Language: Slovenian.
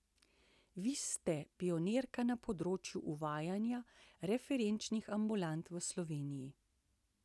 Vi ste pionirka na področju uvajanja referenčnih ambulant v Sloveniji.